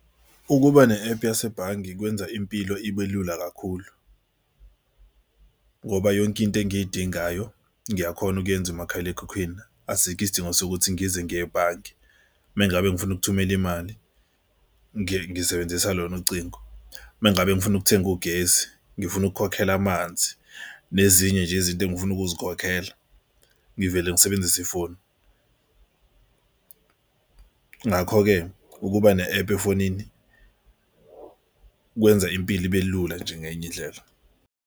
Ukuba ne-ephu yasebhange kwenza impilo ibe lula kakhulu ngoba yonke into engiyidingayo ngiyakhona ukuyenza emakhalekhukhwini. Asikho isidingo sokuthi ngize ngiye ebhange. Uma ngabe ngifuna ukuthumela imali ngisebenzisa lona ucingo. Uma ngabe ngifuna ukuthenga ugesi ngifuna ukukhokhela amanzi nezinye nje izinto engifuna ukuzikhokhela ngivele ngisebenzise ifoni. Ngakho-ke ukuba ne-ephu efonini kwenza impilo ibe lula nje ngenye indlela.